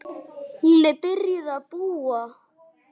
Hún er byrjuð að búa!